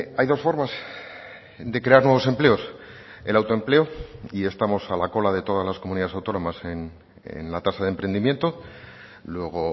hay dos formas de crear nuevos empleos el autoempleo y estamos a la cola de todas las comunidades autónomas en la tasa de emprendimiento luego